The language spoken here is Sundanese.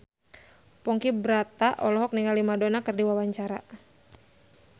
Ponky Brata olohok ningali Madonna keur diwawancara